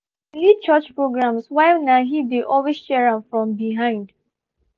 she dey lead church programs while na he dey always cheer for am from behind